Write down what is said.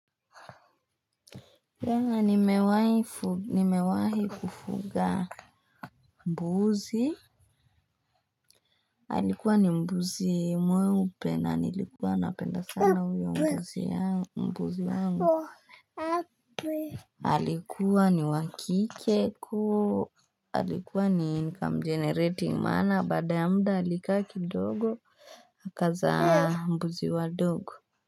Nimewahi kufuga mbuzi alikuwa ni mbuzi mweupe na nilikuwa napenda sana uyo mbuzi yangu alikuwa ni wakike alikuwa ni income generating maana baada ya mda alika kidogo akaza mbuzi wa dogo.